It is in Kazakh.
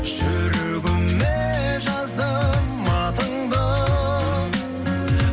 жүрегіме жаздым атыңды